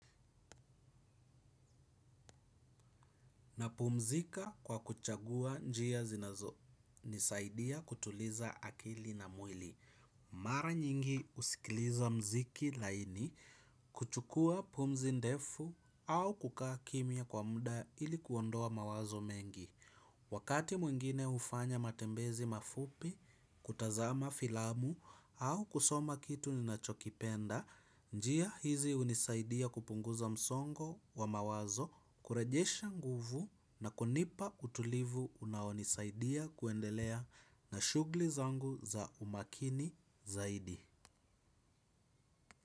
Napumzika kwa kuchagua njia zinazonisaidia kutuliza akili na mwili. Mara nyingi husikiliza muziki laini, kuchukua pumzi ndefu au kukaa kimya kwa muda ili kuondoa mawazo mengi. Wakati mwingine hufanya matembezi mafupi, kutazama filamu au kusoma kitu ninachokipenda, njia hizi hunisaidia kupunguza msongo wa mawazo, kurejesha nguvu na kunipa utulivu unaonisaidia kuendelea na shughuli zangu za umakini zaidi.